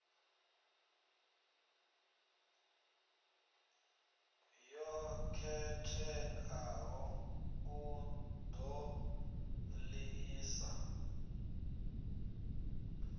yo khetheaho u ṱo ḓisisa